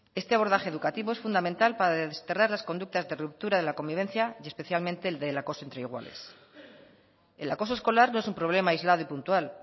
este abordaje educativo es fundamental para desterrar las conductas de ruptura de la convivencia y especialmente el del acoso entre iguales el acoso escolar no es un problema aislado y puntual